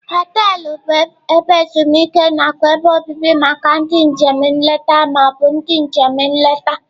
Họteelụ bụ ebe ezumike nakwa ebe obibi maka ndị njem nleta ma ọ bụ ndị njem nleta.